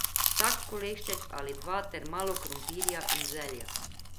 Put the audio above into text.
Vsak kolešček ali dva ter malo krompirja in zelja.